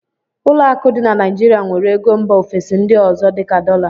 ụlọ akụ dị na Naijirịa nwere ego mba ofesi ndị ọzọ dị ka dọla